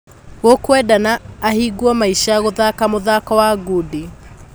Gũkwendekana ahingwo maisha gũthaka mũthako wa ngundi."